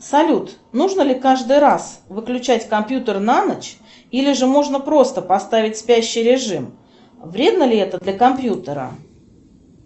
салют нужно ли каждый раз выключать компьютер на ночь или же можно просто поставить спящий режим вредно ли это для компьютера